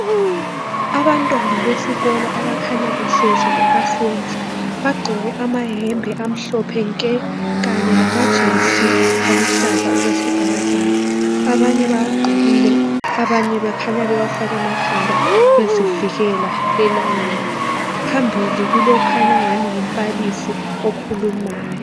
Abantwana besikolo abakhanya behlezi ku asembili, bagqoke amayembe amhlophe nke kanye lamajesi aluhlaza okwesibhakabhaka. Abanye bawagqokile abanye bekhanya bewafake emakhanda bezivikela elangeni, phambili kulokhanya ngani ngumbalisi okhulumayo.